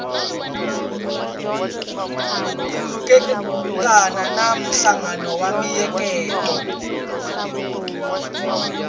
khulukelana na nhlangano wa miehleketo